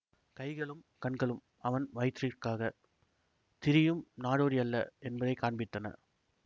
கைகளும் கண்களும் அவன் வயிற்றிற்காகத் திரியும் நாடோடியல்ல என்பதை காண்பித்தன